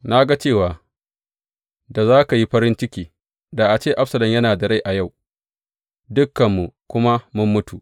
Na ga cewa da za ka yi farin ciki, da a ce Absalom yana da rai a yau, dukanmu kuma mun mutu.